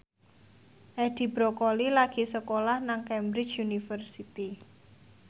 Edi Brokoli lagi sekolah nang Cambridge University